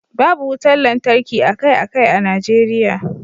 babu wutar lantarki akai-akai a Najeriya